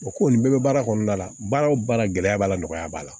O ko nin bɛɛ be baara kɔnɔna la baara o baara gɛlɛya b'a la nɔgɔya b'a la